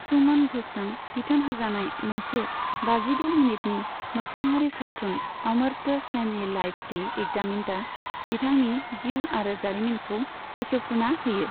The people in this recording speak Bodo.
सुमन घ'षजों बिथोन होजानाय मोनसे बाजिद' मिनिटनि मोगथाङारि सावथुन 'अमर्त्य सेन ए लाइफ री एग्जामिन्ड'आ बिथांनि जिउ आरो खामानिखौ बेखेवफ्रुना होयो।